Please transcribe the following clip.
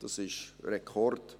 Das ist ein Rekord.